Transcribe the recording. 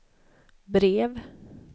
brev